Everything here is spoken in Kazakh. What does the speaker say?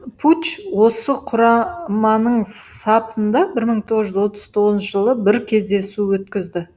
пуч осы құраманың сапында бір мың тоғыз жүз отыз тоғызыншы жылы бір кездесу өткізді